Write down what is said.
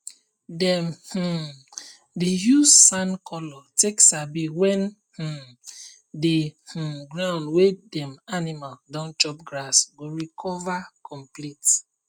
dem um dey use sand color take sabi when um the um ground wey dem animal don chop grass go recover complete